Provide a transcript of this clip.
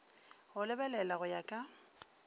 go lebelela go ya ka